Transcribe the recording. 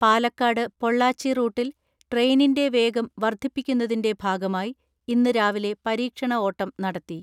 പാലക്കാട് പൊള്ളാച്ചി റൂട്ടിൽ ട്രെയിനിന്റെ വേഗം വർധി പ്പിക്കുന്നതിന്റെ ഭാഗമായി ഇന്ന് രാവിലെ പരീക്ഷണ ഓട്ടം നട ത്തി.